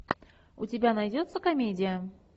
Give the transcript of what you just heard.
у тебя найдется комедия